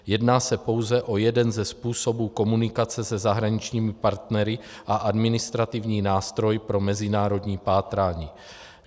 Jedná se pouze o jeden ze způsobů komunikace se zahraničními partnery a administrativní nástroj pro mezinárodní pátrání.